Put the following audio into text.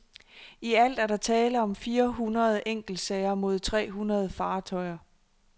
I alt er der tale om fire hundrede enkeltsager mod tre hundrede fartøjer.